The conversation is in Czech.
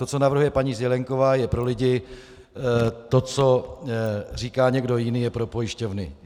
To, co navrhuje paní Zelienková, je pro lidi, to, co říká někdo jiný, je pro pojišťovny.